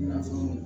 I n'a fɔ